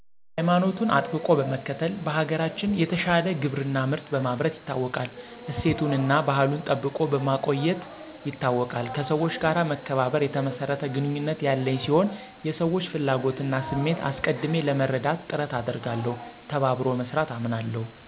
ሀይማኖቱን አጥብቆ መከተል, በሀገራችን የተሻለ ግብርና ምርት በማምረት ይታወቃል ,እሴቶቱና አና ባህሉን ጠብቆ በማቆየት ይታወቃል ,ከሠወች ጋር መከባበር የተመሰረተ ግንኙነት ያለኝ ሲሆን የሰወች ፍላጎት እና ስሜት አሰቀድሜ ለመረዳት ጥረት አደርጋለሁ ,ተባበሮ መስራት አምናለሁ